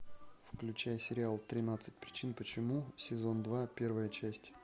включай сериал тринадцать причин почему сезон два первая часть